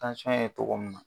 ye togo min na